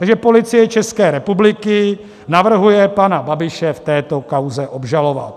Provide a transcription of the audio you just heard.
Takže Policie České republiky navrhuje pana Babiše v této kauze obžalovat.